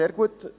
sehr gut.